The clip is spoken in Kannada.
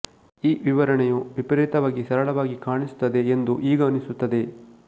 ಈ ವಿವರಣೆಯು ವಿಪರೀತವಾಗಿ ಸರಳವಾಗಿ ಕಾಣಿಸುತ್ತದೆ ಎಂದು ಈಗ ಅನಿಸುತ್ತದೆ